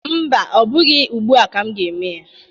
Mba, ọ bụghị ugbu a ka m ga-eme ya